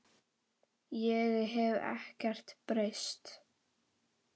Ég hef ekkert breyst.